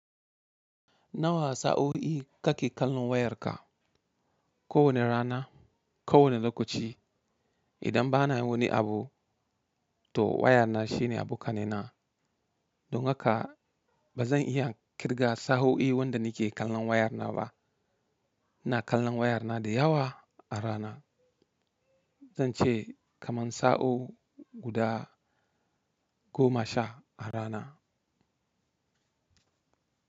Na wasa sa o i kake kallon wayarka ko wane rana, ko wane lokaci. Idan ba na yin wani abu, to wayana shine abo kanaina. Don haka ba zan iya kirga sa'o'i wanda nake kallon wayana ba. Ina kallon wayana da yawa a rana. Zan ce kaman sa'o'i guda goma sha a rana.